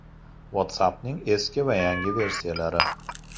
WhatsApp’ning eski va yangi versiyalari.